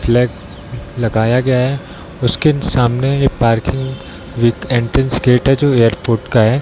लग लगाया गया है उसके सामने एक पार्किंग विथ एंट्रेंस गेट है जो एयरपोर्ट का है।